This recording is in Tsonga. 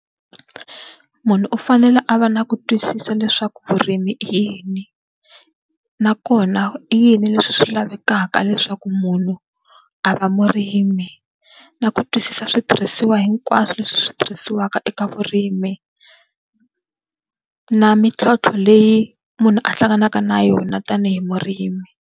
Munhu u fanele a va na ku twisisa leswaku vurimi i yini. Nakona i yini leswi swi lavekaka leswaku munhu a va murimi, na ku twisisa switirhisiwa hinkwaswo leswi swi tirhisiwaka eka vurimi. Na mintlhontlho leyi munhu a hlanganaka na yona tanihi murimi.